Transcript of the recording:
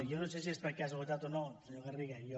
jo no sé si és per casualitat o no senyor garriga jo